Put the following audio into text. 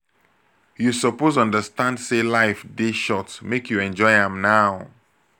you suppose understand sey life dey short make you enjoy am now.